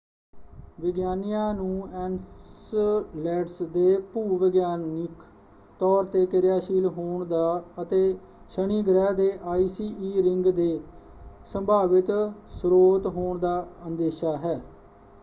ਵਿਗਿਆਨੀਆਂ ਨੂੰ ਐਨਸਲੈਡਸ ਦੇ ਭੂ-ਵਿਗਿਆਨਿਕ ਤੌਰ ‘ਤੇ ਕਿਰਿਆਸ਼ੀਲ ਹੋਣ ਦਾ ਅਤੇ ਸ਼ਨੀ ਗ੍ਰਹਿ ਦੇ ਆਈਸੀ ਈ ਰਿੰਗ ਦੇ ਸੰਭਾਵਿਤ ਸਰੋਤ ਹੋਣ ਦਾ ਅੰਦੇਸ਼ਾ ਹੈ।